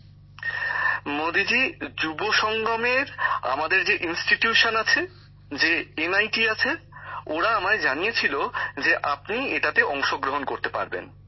গ্যামর জীঃ মোদীজি যুব সঙ্গমের আমাদের যে ইনস্টিটিউশন আছে౼ নিত ওরা আমায় জানিয়েছিল যে আপনি এটাতে অংশগ্রহণ করতে পারবেন